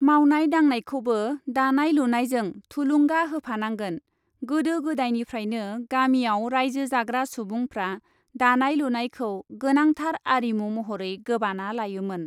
मावनाय दांनायखौबो दानाय लुनायजों थुलुंगा होफानांगोन गोदो गोदायनिफ्रायनो गामिआव राइजो जाग्रा सुबुंफ्रा दानाय लुनायखौ गोनांथार आरिमु महरै गोबाना लायोमोन ।